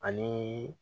Ani